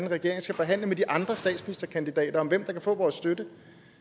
regering skal forhandle med de andre statsministerkandidater om hvem der kan få vores støtte